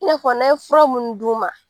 I na fɔ n'an ye fura mun d'u ma